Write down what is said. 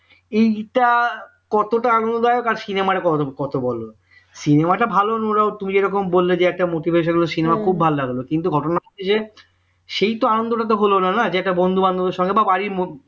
এইটা কতটা আনন্দদায়ক আর cinema কত বড় cinema টা ভালো মূলক তুমি যেরকম বললে যে একটা motivational cinema ভালো লাগলো কিন্তু ঘটনা হচ্ছে যে সেই তো আনন্দটা তো হল না না যেটা বন্ধুবান্ধবের সঙ্গে বা বাড়ির মধ্যে